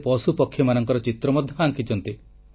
ସେ ପଶୁପକ୍ଷୀମାନଙ୍କ ଚିତ୍ର ମଧ୍ୟ ଆଙ୍କିଛନ୍ତି